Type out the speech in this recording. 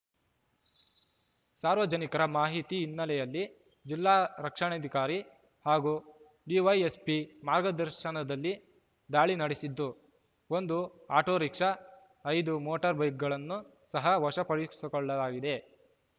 ಸಾರ್ವಜನಿಕರ ಮಾಹಿತಿ ಹಿನ್ನೆಲೆಯಲ್ಲಿ ಜಿಲ್ಲಾರಕ್ಷಣಾಧಿಕಾರಿ ಹಾಗೂ ಡಿವೈಎಸ್ಪಿ ಮಾರ್ಗದರ್ಶನದಲ್ಲಿ ದಾಳಿ ನಡೆಸಿದ್ದು ಒಂದು ಆಟೋರಿಕ್ಷಾ ಐದು ಮೋಟಾರ್‌ ಬೈಕ್‌ಗಳನ್ನು ಸಹ ವಶಪಡಿಸಿಕೊಳ್ಳಲಾಗಿದೆ